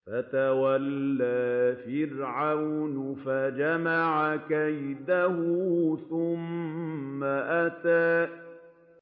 فَتَوَلَّىٰ فِرْعَوْنُ فَجَمَعَ كَيْدَهُ ثُمَّ أَتَىٰ